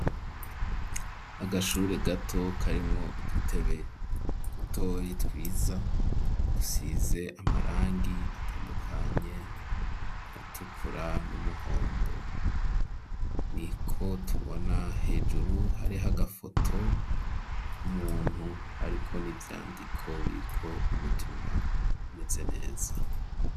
Agashure gato kari mwo dutoyi twiza dusize amarangi atandukanye atukura n'umuhondo ni ko tubona hejuru hariho agafoto k'umuntu ariko n'ivyandiko biriko ubutumwa bumeze neza.